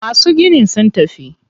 Masu ginin sun tafi.